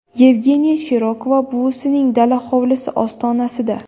Yevgeniya Shirokova buvisining dala-hovlisi ostonasida.